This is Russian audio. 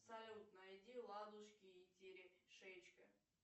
салют найди ладушки и терешечка